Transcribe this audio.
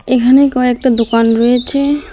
এখানে কয়েকটা দোকান রয়েছে।